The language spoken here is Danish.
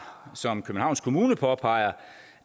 som københavns kommune påpeger